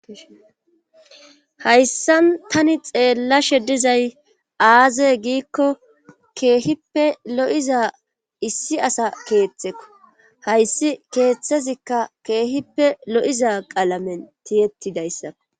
hayssan tani xeellashe dizay aaze giikko keehippe lo7iza issi asa keeththeko hayssi keeththezikka keehippe lo7iza qalamen tiyettidayssao